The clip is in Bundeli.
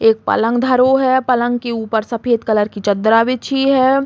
एक पलंग धरो है। पलंग की ऊपर सफ़ेद कलर की चद्दरा बिछी है।